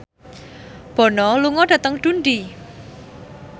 Bono lunga dhateng Dundee